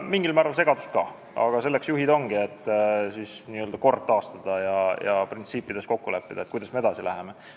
Mingil määral tekitab see segadust ka, aga selleks juhid ongi, et kord taastada ja kokku leppida printsiipides, kuidas edasi minnakse.